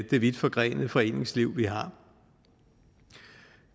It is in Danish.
det vidtforgrenede foreningsliv vi har